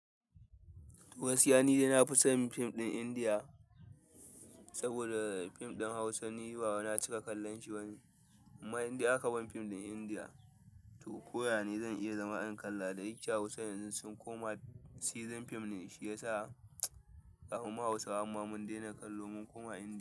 Gaskiya nidai na fi son fim ɗin Indiya saboda fim ɗin Hausa ni bawai na cika kallon shi bane amma in dai aka ban fim ɗin Indiya to koya ne zan iya zama in kalla. Da yike Hausa yanzun sun koma season fim ne shi yasa za ka ga ma Hausawan ma mun dena kallo mun koma Indiya.